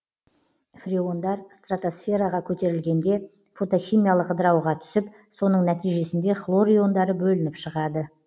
фреондар стратосфераға көтерілгенде фотохимиялық ыдырауға түсіп соның нәтижесінде хлор иондары бөлініп шығады